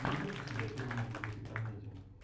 найдешь у себя фильмок в духе комедии